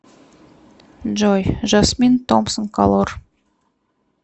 джой жасмин томпсон колор